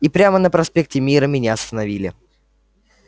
и прямо на проспекте мира меня остановили